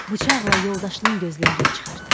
Bıçaqla yoldaşının gözlərini çıxartdı.